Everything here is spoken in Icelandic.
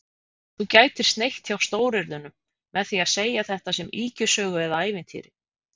Þú gætir sneitt hjá stóryrðunum með því að segja þetta sem ýkjusögu eða ævintýri